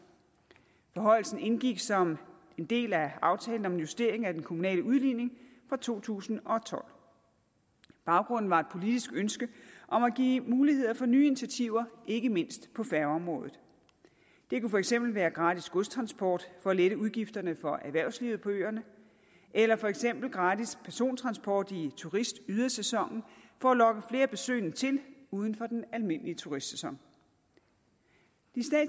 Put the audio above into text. forhøjelsen indgik som en del af aftalen om en justering af den kommunale udligning fra to tusind og tolv baggrunden var et politisk ønske om at give muligheder for nye initiativer ikke mindst på færgeområdet det kunne for eksempel være gratis godstransport for at lette udgifterne for erhvervslivet på øerne eller for eksempel gratis persontransport i turistydersæsonen for at lokke flere besøgende til uden for den almindelige turistsæson